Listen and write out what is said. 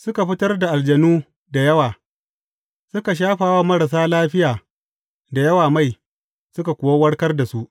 Suka fitar da aljanu da yawa, suka shafa wa marasa lafiya da yawa mai, suka kuwa warkar da su.